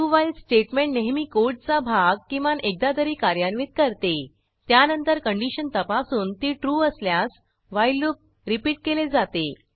do while statement नेहमी कोडचा भाग किमान एकदा तरी कार्यान्वित करते त्यानंतर कंडिशन तपासून ती ट्रू असल्यास व्हाईल लूप रिपीट केले जाते